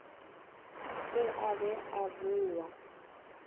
se a be a boa